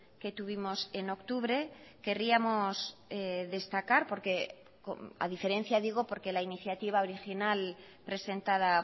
que tuvimos en octubre querríamos destacar porque a diferencia digo porque la iniciativa original presentada